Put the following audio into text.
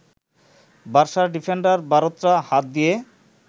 বার্সার defender Bartra হাত দিয়ে